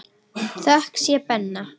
Þökk sé Benna.